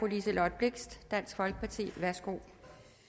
liselott blixt dansk folkeparti værsgo